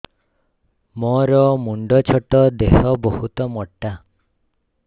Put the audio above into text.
ମୋର ମୁଣ୍ଡ ଛୋଟ ଦେହ ବହୁତ ମୋଟା